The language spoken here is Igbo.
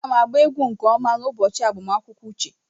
Aga m agba egwu nke ọma n'ụbọchị agbamakwụkwọ uche.